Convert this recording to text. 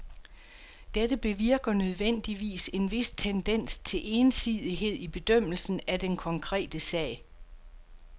Dette bevirker nødvendigvis en vis tendens til ensidighed i bedømmelsen af den konkrete sag.